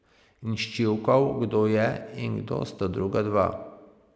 In sčivkal, kdo je in kdo sta druga dva.